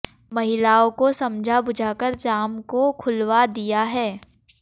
महिलाओं को समझा बुझाकर जाम को खुलावा दिया है